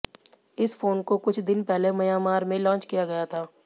इस फोन को कुछ दिन पहले म्यांमार में लॉन्च किया गया था